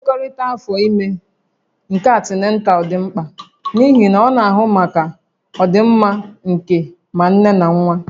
Nlekọta afọ ime nke antinatal dị mkpa n'ihi na ọ na-ahụ maka ọdịmma nke ma nne na nwa